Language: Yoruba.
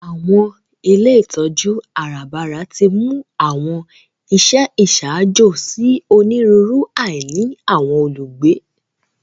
Àwọn ilé ìtójú àràbarà timú àwọn iṣẹ iṣaajo si oniruuru àìní àwọn olugbe.